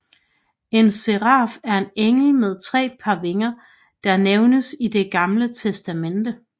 En seraf er en engel med tre par vinger der nævnes i Det gamle testamente